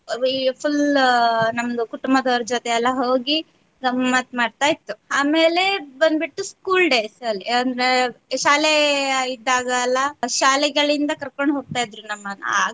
Full ನಮ್ದು ಕುಟುಂಬದವರ ಜೊತೆ ಎಲ್ಲಾ ಹೋಗಿ ಗಮತ್ತ್ ಮಾಡ್ತಾ ಇತ್ತು ಆಮೇಲೆ ಬಂದ್ಬಿಟ್ಟು school days ಅಲ್ಲಿ ಅಂದ್ರೆ ಶಾಲೆ ಇದ್ದಾಗ ಎಲ್ಲ ಶಾಲೆಗಳಿಂದ ಕರ್ಕೊಂಡ್ ಹೋಗ್ತಾ ಇದ್ರು ನಮ್ಮನ್ ಆಗ.